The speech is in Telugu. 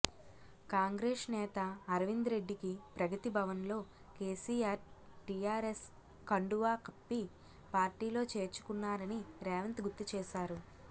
కాంగ్రెస్ నేత అరవింద్ రెడ్డికి ప్రగతి భవన్ లో కేసీఆర్ టీఆర్ఎస్ కండువా కప్పి పార్టీలో చేర్చుకున్నారని రేవంత్ గుర్తుచేశారు